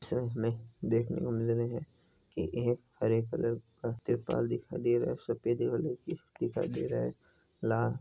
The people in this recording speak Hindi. इस इमेज में देख ने को मिल रहे हैकी एक हरे कलर के तिरपाल दिखाय दे रहे है सफ़ेद कलर की दिखाय दे रहे है लाल--